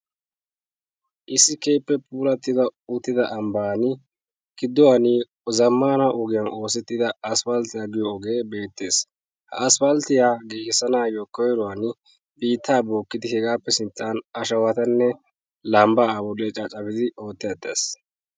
Issi puulatti uttida ambban gidduwan zammaana ogiyan oosettida asppalttiya giyo ogee beettees. Ha isppalttiya giigissanaayyo koyruwan, biittaa bookkidi, hegaappe sinttan ashawatanne lambbaa ha ogiyan caccafidi ootteettees.